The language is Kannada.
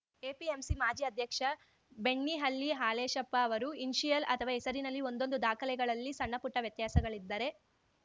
ಎಪಿಎಂಸಿ ಮಾಜಿ ಅಧ್ಯಕ್ಷ ಬೆಣ್ಣಿಹಳ್ಳಿ ಹಾಲೇಶಪ್ಪ ಅವರು ಇನಿಷಿಯಲ್‌ ಅಥವಾ ಹೆಸರಿನಲ್ಲಿ ಒಂದೊಂದು ದಾಖಲೆಗಳಲ್ಲಿ ಸಣ್ಣಪುಟ್ಟವ್ಯತ್ಯಾಸಗಳಿದ್ದರೆ